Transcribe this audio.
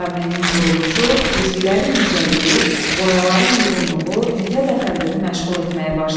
Cameənin quruluşu, cizgilərin incəliyi, boyaların uyğunluğu Mithət Əfəndini məşğul etməyə başladı.